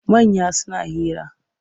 Manya suna hira.